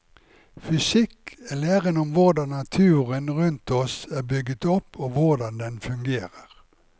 Fysikk er læren om hvordan naturen rundt oss er bygget opp og hvordan den fungerer.